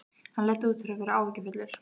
Hann leit út fyrir að vera áhyggjufullur.